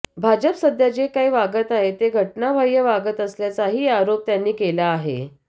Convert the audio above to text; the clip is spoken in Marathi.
भाजप सध्या जे काही वागत आहे ते घटनाबाह्या वागत असल्याचाही आरोप त्यांनी केला आहे